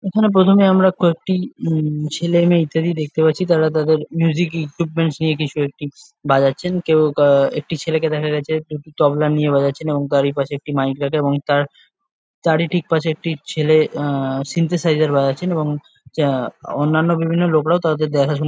ওখানে প্রথমে আমরা কয়েকটি উম ছেলে মেয়ে ইত্যাদি দেখতে পারছি তারা তাদের মিউজিক ইকুইপমেন্ট নিয়ে কিছু একটি বাজাচ্ছেন। কেউ আহ একটি ছেলেকে দেখা গেছে একটি তবলা নিয়ে বাজাচ্ছেন এবং তার ই পাশে একটি মাইক রাখা এবং তার তারই ঠিক পাশে একটি ছেলে আহ সিন্থেসাইজার বাজাচ্ছেন এবং আহ অন্যান্য বিভিন্ন লোকেরা তাদের তাদের দেখাশুনা--